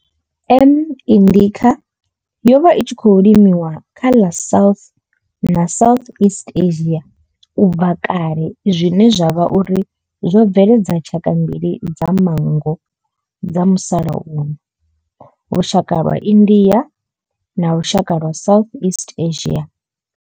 M. indica yo vha i tshi khou limiwa kha ḽa South na South east Asia ubva kale zwine zwa vha uri zwo bveledza tshaka mbili dza manngo dza musalauno lushaka lwa India na lushaka lwa Southeast Asia.